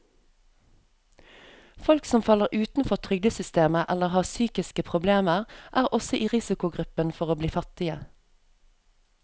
Folk som faller utenfor trygdesystemet eller har psykiske problemer, er også i risikogruppen for å bli fattige.